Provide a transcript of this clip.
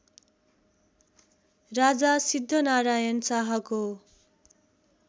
राजा सिद्धनारायण शाहको